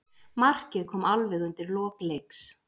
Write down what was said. Markið kom alveg undir lok leiks.